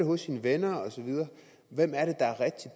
hos sine venner og så videre